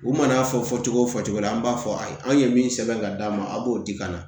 U mana fɔ fɔ cogo o fɔ cogo la an b'a fɔ a ye an ye min sɛbɛn ka d'a ma a b'o di ka na